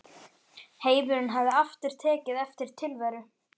Heimurinn hafði aftur tekið eftir tilveru